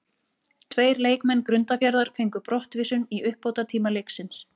Tveir leikmenn Grundarfjarðar fengu brottvísun í uppbótartíma leiksins.